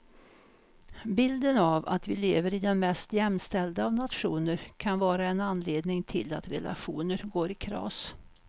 Bilden av att vi lever i den mest jämställda av nationer kan vara en anledning till att relationer går i kras.